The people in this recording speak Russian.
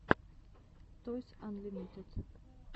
тойс анлимитед